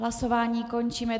Hlasování končím.